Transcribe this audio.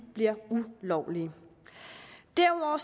bliver ulovlige derudover